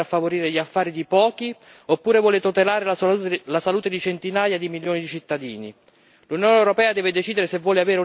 L'Unione europea deve decidere se vuole continuare a favorire gli affari di pochi, oppure se vuole tutelare la salute di centinaia di milioni di cittadini.